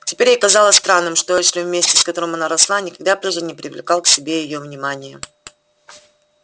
теперь ей казалось странным что эшли вместе с которым она росла никогда прежде не привлекал к себе её внимания